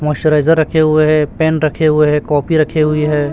Moisturiser रखे हुए है पेन रखे हुए है कॉपी रखे हुई है।